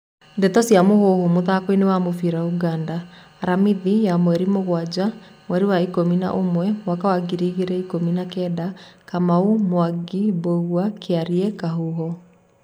Ndeto cia Mũhuhu, mũthakoini wa mũbĩra Ũganda, Aramithi ya mweri mũgwaja, mweri wa ikũmi na ũmwe, mwaka wa ngiri igĩrĩ ikũmi na Kenda:Kamau, Mwangi, Mbugua, Kiarie, Kahuho.